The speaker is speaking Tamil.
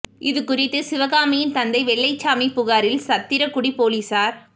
இது குறித்து சிவகாமியின் தந்தை வெள்ளைச்சாமி புகாரில் சத்திரக் குடி போலீசார்